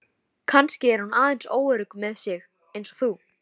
Kannski er hún aðeins óörugg með sig eins og þú.